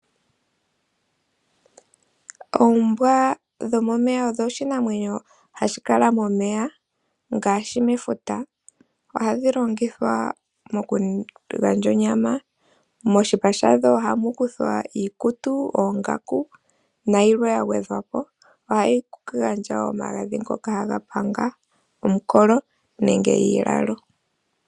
Oombwa dhomomeya odho iinamwenyo hayi kala momeya ngaashi mefuta. Ohadhi longithwa mokugandja onyama, moshipa shadho ohamukuthwa iikutu, oongaku, nayilwe yagwedha po. Ohadhi gandja omagadhi ngoka hagapanga omukolo nenge iilalo.